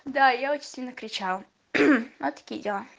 да я очень сильно кричал вот такие дела